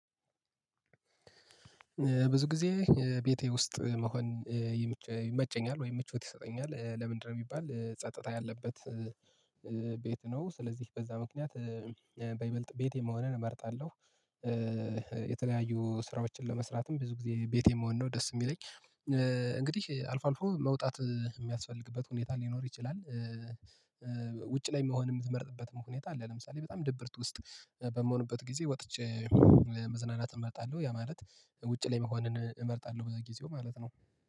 ብዙ ጊዜ ቤቴ ውስጥ መሆን ይመቸኛል ወይም ምቾት ይሰጠኛል ለምንድነው ቢባል ጸጥታ ያለበት ቤት ነው ስለዚህ በዛ ምክንያት በይበልጥ ቤት መሆንን እመርጣለሁ። የተለያዩ ስራዎችን ለመስራትም ብዙ ጊዜ ቤቴ የምሆን ነው ደስ የሚለኝ። እንግዲህ አልፎ አልፎ መውጣት የሚያስፈልግበት ሁኔታ ሊኖር ይችላል። ውጪ ላይ መሆን የምትመርጥበት ሁኔታ አለ። ለምሳሌ በጣም ድብርት ውስጥ በምሆንበት ጊዜ ወጥቼ መዝናናት እመርጣለሁ ያ ማለት ውጪ ላይ መሆንን እመርጣለሁ። ብዙ ጊዜ ማለት ነው